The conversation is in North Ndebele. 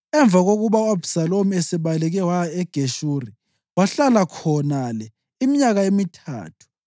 Emva kokuba u-Abhisalomu esebaleke waya eGeshuri, wahlala khonale iminyaka emithathu.